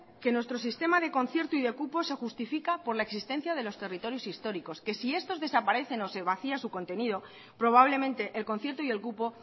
que nuestro sistema de concierto y de cupo se justifica por la existencia de los territorios históricos que si estos desaparecen o se vacía su contenido probablemente el concierto y el cupo